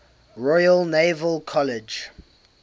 royal naval college